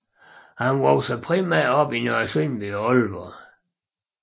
Han voksede primært op i Nørresundby og Aalborg